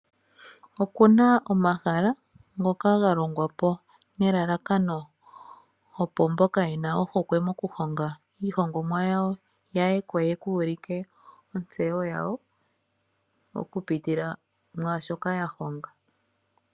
Oku na omahala ngoka ga longwa po nelalakano opo mboka ye na ohokwe mokuhonga iihongomwa yawo ya ye ko ye ku ulike ontseyo yawo okupitila mu shoka ya honga.